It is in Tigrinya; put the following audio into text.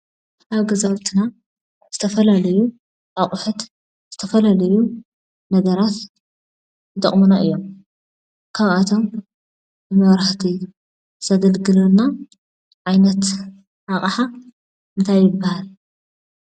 ኣብ ገዛውትና ዝተፈላለዩ ኣቑሑት፣ ዝተፈላለዩ ነገራት ይጥቕሙና እዮም፡፡ ካብኣቶም ንመብራህቲ ዘገልግለና ዓይነት ኣቕሓ እንታይ ይበሃል፡፡